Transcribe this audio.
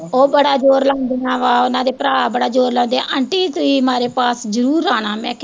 ਉਹ ਬੜਾ ਜ਼ੋਰ ਲਾਉਂਦੀਆਂ ਵਾਂ ਉਹਨਾਂ ਦੇ ਭਰਾ ਬੜਾ ਜ਼ੋਰ ਲਾਉਂਦੇ ਆ ਆਂਟੀ ਤੁਸੀਂ ਮਾਰੇ ਪਾਸ ਜ਼ਰੂਰ ਆਣਾ ਮੈਂ